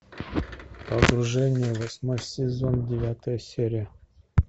погружение восьмой сезон девятая серия